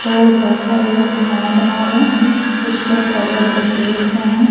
तो बहोत सारे लोग खाना बना रहे कुछ लोग खड़े होके देख रहे--